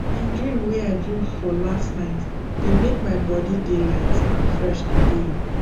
d dream wey i dream for last night dey make my body just dey light and fresh today